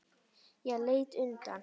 Ég leit undan.